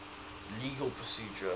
legal procedure